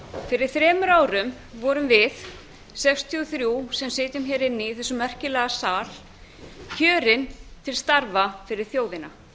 fyrir þremur árum vorum við sextíu og þrjú sem sitjum hér inni í þessum merkilega sal kjörin til starfa fyrir þjóðina